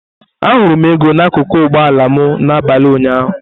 Ahụrụ m ego n'akụkụ ụgbọ ala m n'abalị ụnyaahụ.